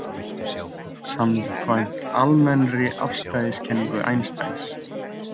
Samkvæmt almennri afstæðiskenningu Einsteins.